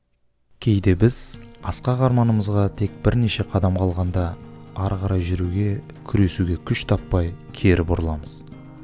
кейде біз асқақ арманымызға тек бірнеше қадам қалғанда ары қарай жүруге күресуге күш таппай кері бұрыламыз